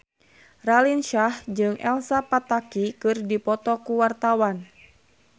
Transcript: Raline Shah jeung Elsa Pataky keur dipoto ku wartawan